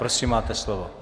Prosím, máte slovo.